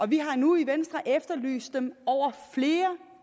vi har nu i venstre efterlyst dem over flere